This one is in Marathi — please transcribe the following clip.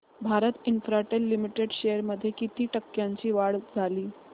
भारती इन्फ्राटेल लिमिटेड शेअर्स मध्ये किती टक्क्यांची वाढ झाली